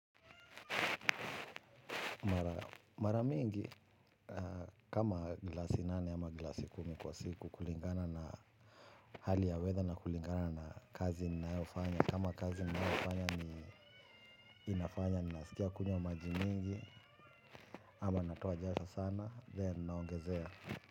Mara mingi kama glasi nane ama glasi kumi kwa siku kulingana na hali ya weather na kulingana na kazi ninayofanya. Kama kazi ninayofanya ni inafanya ninasikia kunywa maji mingi ama natoa jasho sana then naongezea.